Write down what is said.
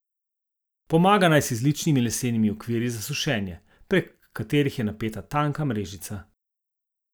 Pomaga naj si z ličnimi lesenimi okviri za sušenje, prek katerih je napeta tanka mrežica.